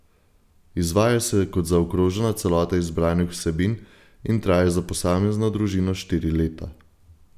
Izvaja se kot zaokrožena celota izbranih vsebin in traja za posamezno družino štiri leta.